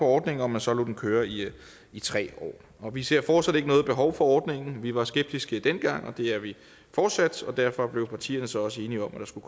ordningen og at man så lod den køre i i tre år vi ser fortsat ikke noget behov for ordningen vi var skeptiske dengang og det er vi fortsat derfor blev partierne så også enige om at der skulle